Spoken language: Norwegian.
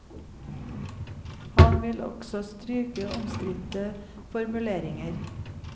Han vil også stryke omstridte formuleringer.